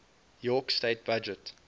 york state budget